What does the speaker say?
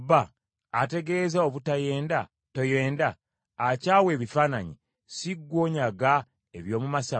Ategeeza obutayenda, toyenda? Akyawa ebifaananyi, si ggwe onyaga eby’omu masabo?